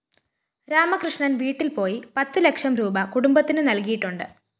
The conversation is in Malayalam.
രാമകൃഷ്ണന്‍ വീട്ടില്‍ പോയി പത്തു ലക്ഷം രൂപീ കുടുംബത്തിന് നല്‍കിയിട്ടുണ്ട്